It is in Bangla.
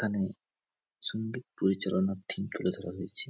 এখানে সঙ্গীত পরিচালনার থিম তুলে ধরা হয়েছে।